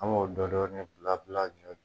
An b'o dɔ dɔni bila bila a ɲɛfɛ